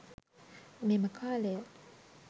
මෙම කාලය